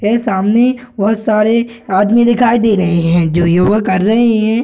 guys सामने बहुत सारे आदमी दिखाई दे रहें हैं जो योग कर रहे हैं |